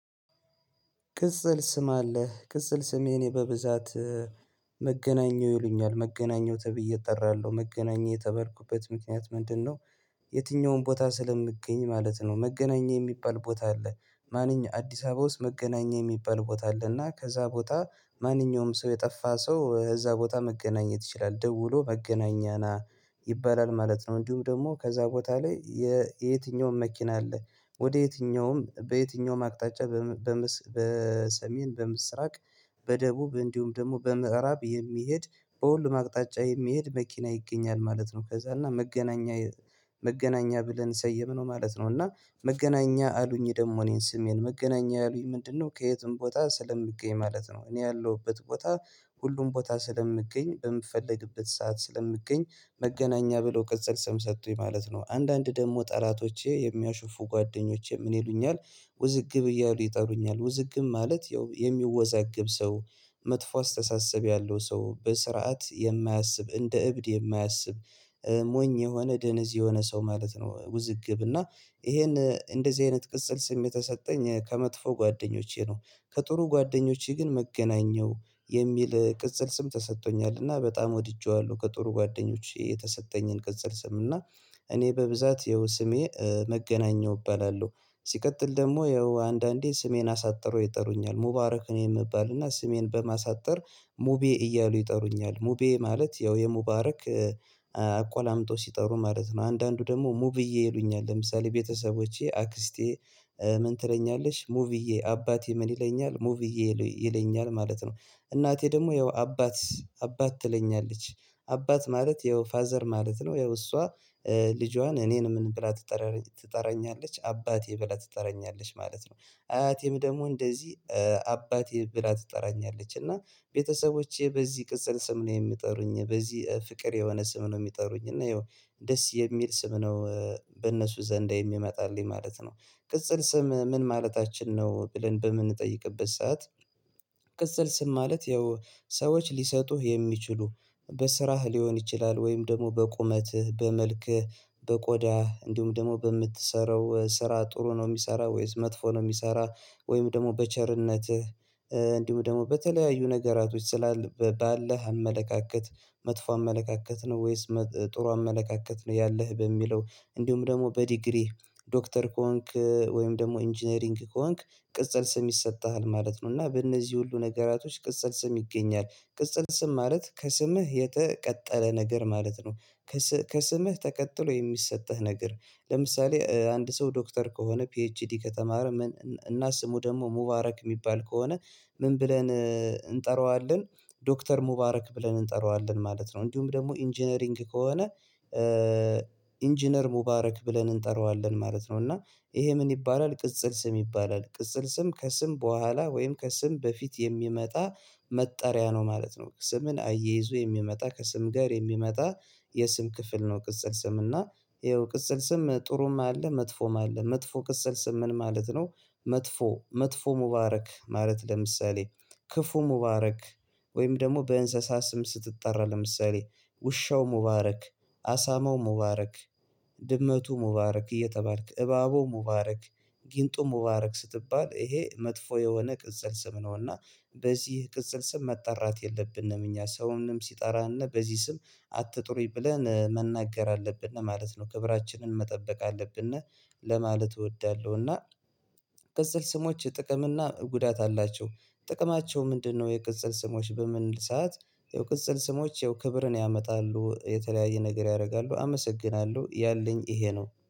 ቅጽል ስም አለህ ቅጽል ስም የኔ በብዛት መገናኘው ይሉኛል መገናኘው ተብዬ እጠራለሁ መገናኘው የተባልኩበት ምክንያት ምንድነው? የትኛውም ቦታ ስለምገኝ ማለት ነው። መገናኘው የሚባል ቦታ አለ ማንኛ አዲስ አበባ ውስጥ መገናኛ የሚባል ቦታ አለ። እና ከዛ ቦታ ማንኛውም ሰው የጠፋ ሰው እዛ ቦታ መገናኘት ይችላል ደውሎ መገናኛ ና ይባላል ማለት ነው። እንዲሁም ደግሞ ከዛ ቦታ ላይ የየትኛውም መኪና አለ ወደ የትኛውም በየትኛውም አቅጣጫ። በሰሜን በምስራቅ በደቡብ እንዲሁም ደግሞ በምዕራብ የሚሄድ በሁሉም አቅጣጫ የሚሄድ መኪና ይገኛል ማለት ነው። ከዛ እና መገናኛ መገናኛ ብለን ሰየምነው ማለት ነው። እና መገናኛ አሉኝ ደግሞ እኔን ስሜን መገናኛ አሉኝ ምንድነው ከየትም ቦታ ስለምገኝ ማለት ነው። እኔ ያለሁበት ቦታ ሁሉም ቦታ ስለምገኝ በምፈልግበት ሰዓት ስለምገኝ መገናኛ ብሎ ቀጽል ስም ሰጡኝ ማለት ነው። አንዳንድ ደግሞ ጠላቶቼ የሚያሾፉ ጓደኞቼ ምን ይሉኛል? ውዝግብ እያሉ ይጠሩኛል ውዝግብ ማለት ያው የሚወዛግብ ሰው መጥፎ አስተሳሰብ ያለው ሰው በስርዓት የማያስብ እንደ እብድ የማያስብ ሞኝ የሆነ ደነዝ የሆነ ሰው ማለት ነው። ውዝግብ እና ይሄን እንደዚህ አይነት ቅጽል ስም የተሰጠኝ ከመጥፎ ጓደኞቼ ነው። ከጥሩ ጓደኞቼ ግን መገናኛው የሚል ቅጽል ስም ተሰጥቶኛልና በጣም ወድጄዋለሁ። ከጥሩ ጓደኞቼ የተሰጠኝን ቅጽል ስም እና እኔ በብዛት ያው ስሜ መገናኘዉው እባላለሁ። ሲቀጥል ደግሞ ያው አንዳንዴ ስሜን አሳጥረው ይጠሩኛል ሙባረክ ነው የምባልና ስሜን በማሳጠር ሙቤ እያሉ ይጠሩኛል ሙቤ ማለት ያው የሙባረክ አቆላምጦ ሲጠሩ ማለት ነው። አንዳንዱ ደግሞ ሙብዬ ይሉኛል ለምሳሌ ቤተሰቦቼ አክስቴ ምን ትለኛለሽ ሙብዬ አባቴ ምን ይለኛል ሙብዬ ይለኛል ማለት ነው። እናቴ ደግሞ ያው አባት አባት ትለኛለች። አባት ማለት ያው ፋዘር ማለት ነው። ያው እሷ ልጇን እኔን ምን ብላ ትጠራለች ትጠራኛለች አባቴ ብላ ትጠራኛለች ማለት ነው። አያቴም ደግሞ እንደዚህ አባቴ ብላ ትጠራኛለች። እና ቤተሰቦቼ በዚህ ቅጽል ስም ነው የሚጠሩኝ በዚህ ፍቅር የሆነ ስም ነው የሚጠሩኝ። እና ይኸው ደስ የሚል ስም ነው። በእነሱ ዘንዳ የሚመጣልኝ ማለት ነው። ቅጽል ስም ምን ማለታችን ነው ብለን በምንጠይቅበት ሰዓት? ቅጽል ስም ማለት ያው ሰዎች ሊሰጡህ የሚችሉ በስራህ ሊሆን ይችላል። ወይም ደግሞ በቁመትህ በመልክህ በቆዳህ እንዲሁም ደግሞ በምትሰራው ስራ ጥሩ ነው የሚሰራ ወይስ መጥፎ ነው የሚሰራ። ወይም ደግሞ በቸርነትህ እንዲሁ ደግሞ በተለያዩ ነገራቶች ስላለ ባለህ አመለካከት መጥፎ አመለካከት ነው ወይስ ጥሩ አመለካከት ነው። ያለህ በሚለው እንዲሁም ደግሞ በዲግሪህ ዶክተር ኮንክ ወይም ደግሞ ኢንጂነሪንግ ከሆንክ ቅጽል ስም ይሰጥሃል ማለት ነው። እና በእነዚህ ሁሉ ነገራቶች ቅጽል ስም ይገኛል። ቅጽል ስም ማለት ከስምህ የተቀጠለ ነገር ማለት ነው። ከስምህ ተቀጥሎ የሚሰጥህ ነገር። ለምሳሌ አንድ ሰው ዶክተር ከሆነ ፒኤችዲ ከተማር እና ስሙ ደግሞ ሙባረክ የሚባል ከሆነ ምን ብለን እንጠራዋለን ዶክተር ሙባረክ ብለን እንጠራዋለን ማለት ነው። እንዲሁም ደግሞ ኢንጂነሪንግ ከሆነ ኢንጂነር ሙባረክ ብለን እንጠራዋለን ማለት ነው። እና ይሄ ምን ይባላል ቅጽል ስም ይባላል። ቅጽል ስም ከስም በኋላ ወይም ከስም በፊት የሚመጣ መጠሪያ ነው ማለት ነው። ስምን አይይዞ የሚመጣ ከስም ጋር የሚመጣ የስም ክፍል ነው። ቅጽል ስም እና ይኸው ቅጽል ስም ጥሩም አለ መጥፎም አለ። መጥፎ ቅጽል ስም ምን ማለት ነው? መጥፎ መጥፎ ሙባረክ ማለት ለምሳሌ ክፉ ሙባረክ ወይም ደግሞ በእንስሳት ስም ስትጠራ ለምሳሌ ውሻው ሙባረክ አሳማው ሙባረክ ድመቱ ሙባረክ እየተባልክ እባቡ ሙባረክ ጊንጡ ሙባረክ ስትባል ይሄ መጥፎ የሆነ ቅጽል ስም ነው። እና በዚህ ቅጽል ስም መጣራት የለብንም እኛ ሰውንም ሲጠራን በዚህ ስም አትጥሩኝ ብለን መናገር አለብን ማለት ነው። ክብራችንን መጠበቅ አለብን። ለማለት እወዳለሁ እና ቅጽል ስሞች ጥቅም እና ጉዳት አላቸው። ጥቅማቸው ምንድነው? የቅጽል ስሞች በምንል ሰዓት ያው ቅጽል ስሞች ክብርን ያመጣሉ የተለያየ ነገር ያደርጋሉ አመሰግናለሁ ያለኝ ይሄ ነው